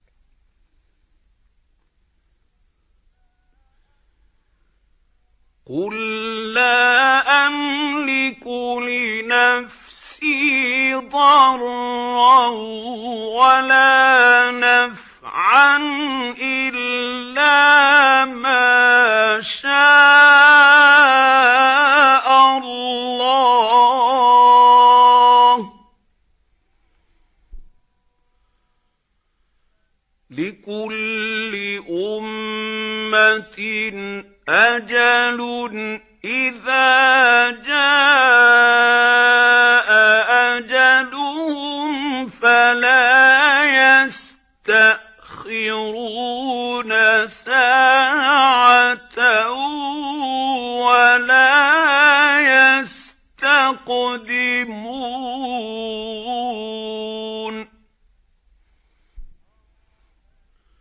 قُل لَّا أَمْلِكُ لِنَفْسِي ضَرًّا وَلَا نَفْعًا إِلَّا مَا شَاءَ اللَّهُ ۗ لِكُلِّ أُمَّةٍ أَجَلٌ ۚ إِذَا جَاءَ أَجَلُهُمْ فَلَا يَسْتَأْخِرُونَ سَاعَةً ۖ وَلَا يَسْتَقْدِمُونَ